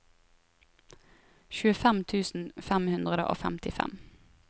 tjuefem tusen fem hundre og femtifem